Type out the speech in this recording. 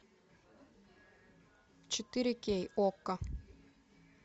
четыре кей окко